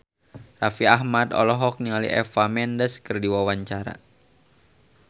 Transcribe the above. Raffi Ahmad olohok ningali Eva Mendes keur diwawancara